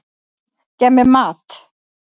Gef mér mat!